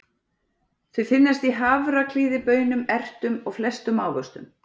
Þau finnast í hafraklíði, baunum, ertum og flestum ávöxtum.